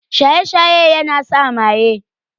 Shaye-shaye yana sa maye.